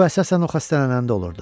Bu əsasən o xəstələnəndə olurdu.